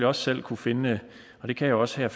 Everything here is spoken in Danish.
også selv kunne finde og det kan jeg også her